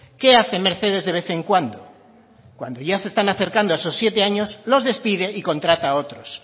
qué hace mercedes de vez en cuando cuando ya se están acercando a esos siete años los despide y contrata a otros